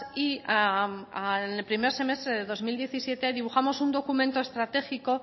y al primer semestre de dos mil diecisiete dibujamos un documento estratégico